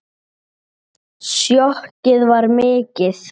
Sjokkið var mikið.